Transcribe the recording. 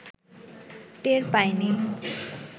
টের পাইনি